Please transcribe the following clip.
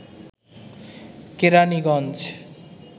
Keraniganj